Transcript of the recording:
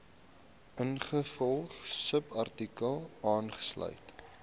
ingevolge subartikel aangestel